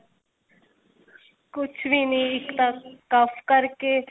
ਕੁੱਝ ਵੀ ਨੀ ਇੱਕ ਤਾਂ ਕਰਕੇ